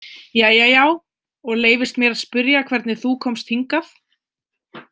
Jæja já, og leyfist mér að spyrja hvernig þú komst hingað?